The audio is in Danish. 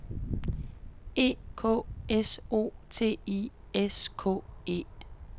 E K S O T I S K E